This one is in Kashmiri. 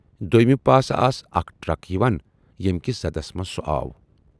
دویمہِ پاسہٕ آس اکھ ٹرک یِوان ییمہِ کِس زدس منز سُہ آو۔